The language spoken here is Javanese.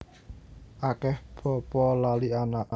Akeh bapa lali anak